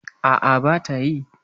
A'a, ba ta yi.